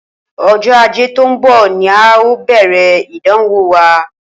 Ojó Ajé tó n bò ni a óò bèrè ìdánwò wa